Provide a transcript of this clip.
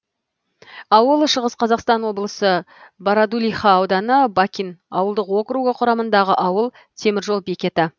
ауыл шығыс қазақстан облысы бородулиха ауданы бакин ауылдық округі құрамындағы ауыл темір жол бекеті